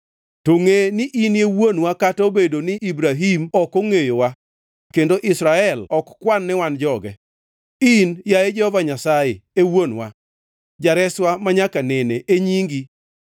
To ngʼe ni inie wuonwa kata obedo ni Ibrahim ok ongʼeyowa kendo Israel ok kwan ni wan joge, in, yaye Jehova Nyasaye, e wuonwa, Jareswa manyaka nene e nyingi.